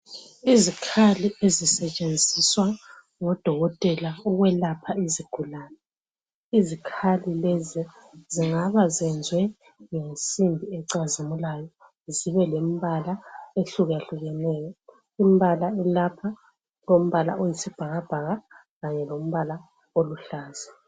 Izikhali ezisetshenziswa ngodokotela ukwelapha izigulane. Izikhali lezi zingaba zenzwe ngensimbi ecazimulayo zibe lembala ehlukehlukeneyo. Imbala elapha, kulombala oyisibhakabhaka kanye lombala oluhlaza.